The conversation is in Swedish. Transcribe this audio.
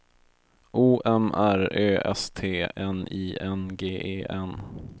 O M R Ö S T N I N G E N